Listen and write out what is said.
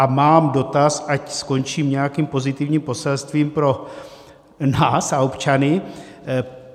A mám dotaz, ať skončím nějakým pozitivním poselstvím pro nás a občany.